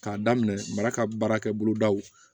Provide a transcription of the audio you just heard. K'a daminɛ mara ka baarakɛ bolodaw